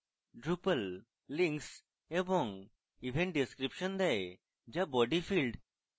drupal links এবং event description দেয় যা body field